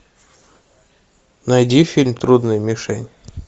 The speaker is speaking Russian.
найди фильм трудная мишень